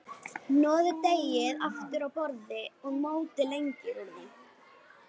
Hnoðið deigið aftur á borði og mótið lengjur úr því.